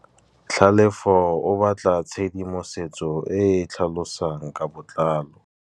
Tlhalefô o batla tshedimosetsô e e tlhalosang ka botlalô.